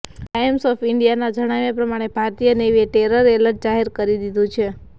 times of ઇન્ડિયાના જણાવ્યા પ્રમાણે ભારતીય નેવીએ ટેરર એલર્ટ જાહેર કરી દીધું છે